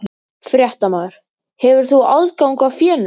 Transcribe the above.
Fréttamaður: Hefur þú aðgang að fénu?